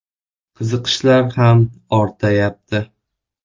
Qiziqishlar ham ortayapti.